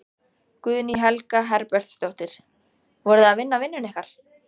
Guðný Helga Herbertsdóttir: Voruð þið að vinna vinnuna ykkar?